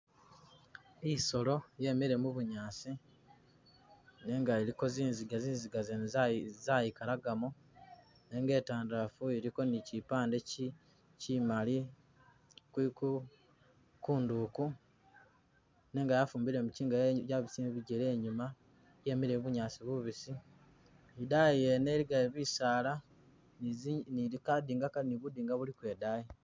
I'solo yemile mu bunyaasi nenga iliko zizinga, zizinga zene zayigalagamo nenga e'tandalafu iliko ni chipande chi chimali kwi Ku kunduku nenga yafumbile muchinga yabisile mu bigele i'nyuma, yemele mu bunyaasi bubisi, i'daayi wene iligayo bisaala ni bukinga buliko i'daayi